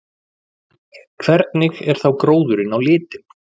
Hvernig er þá gróðurinn á litinn?